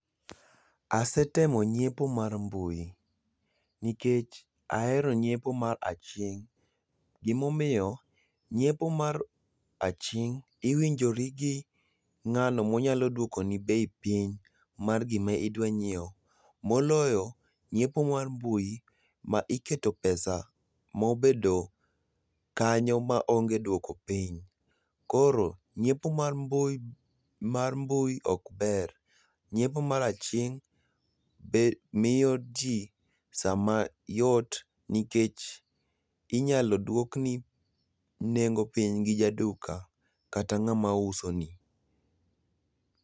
Ase temo nyiepo mar mbui nikech ahero nyiepo mar aching', gimomiyo nyiepo mar aching' iwinjori gi ng'ano monyalo duokoni bei piny mar gima idwa ng'iewo, moloyo nyiepo mar mbui ma iketo pesa mobedo kanyo maonge duoko piny. Koro nyiepo mar mbui mar mbui ok ber. Nyiepo mar aching' be miyo ti sama yot nikech inyalo duokni nengo piny gi jaduka kata ng'ama uso ni.